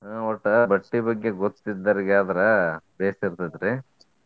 ಹ್ಮ್ ಒಟ್ಟ ಬಟ್ಟಿ ಬಗ್ಗೆ ಗೊತ್ತ್ ಇದ್ದವ್ರಿಗೆ ಆದ್ರ ಭೇಷ್ ಇರ್ತೆತ್ರಿ.